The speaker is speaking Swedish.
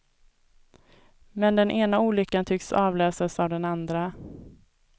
Men den ena olyckan tycks avlösas av den andra.